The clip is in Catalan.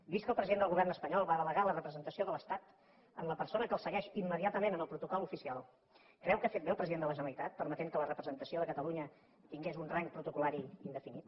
vist que el president del govern espanyol va delegar la representació de l’estat en la persona que el segueix immediatament en el protocol oficial creu que ha fet bé el president de la generalitat permetent que la representació de catalunya tingués un rang protocollari indefinit